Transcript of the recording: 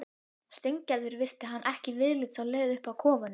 Steingerður virti hann ekki viðlits á leið upp að kofunum.